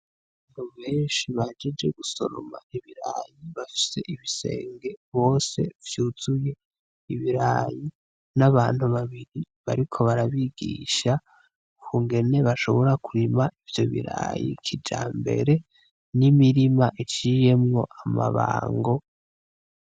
Abantu benshi bahejeje gusoroma ibirayi bafise ibisenge bose vyuzuye ibirayi, n'abantu babiri bariko barabigisha ukungene bashobora kurima ivyo birayi kijambere n'imirima iciye amabango.